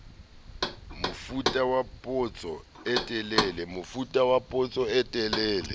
mofuta wa potso e telele